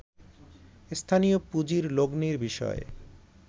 স্থানীয় পুঁজির লগ্নির বিষয়